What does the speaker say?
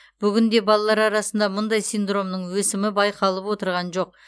бүгінде балалар арасында мұндай синдромның өсімі байқалып отырған жоқ